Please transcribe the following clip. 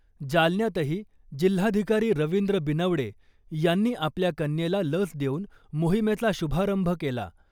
जालन्यातही जिल्हाधिकारी रवींद्र बिनवडे यांनी आपल्या कन्येला लस देऊन मोहिमेचा शुभारंभ केला .